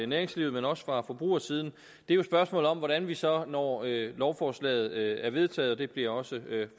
næringslivet men også fra forbrugersiden er spørgsmålet om hvordan vi så når lovforslaget er vedtaget og det bliver også